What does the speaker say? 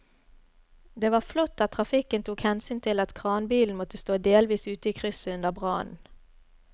Det var flott at trafikken tok hensyn til at kranbilen måtte stå delvis ute i krysset under brannen.